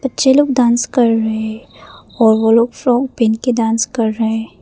छः लोग डांस कर रहे हैं और वो लोग फ्रॉक पहन के डांस कर रहे है।